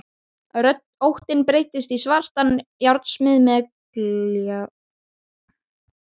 Óttinn breytist í svartan járnsmið með gljáandi búk.